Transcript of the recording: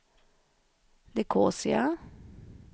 Nicosia